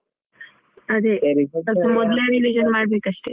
ಅದೇ ಮೊದ್ಲೇ ನೀನೀಗ revision ಮಾಡ್ಬೇಕಷ್ಟೆ.